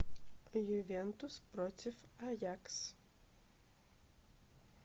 ювентус против аякс